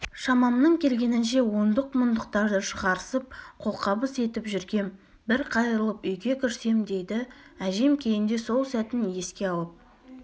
шамамның келгенінше ондық-мұндықтарды шығарысып қолқабыс етіп жүргем бір қайырылып үйге кірсем дейді әжем кейінде сол сәтін еске алып